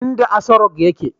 inda Asorock yake